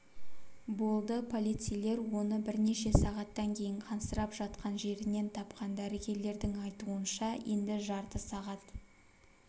болды полицейлер оны бірнеше сағаттан кейін қансырап жатқан жерінен тапқан дәрігерлердің айтуынша енді жарты сағат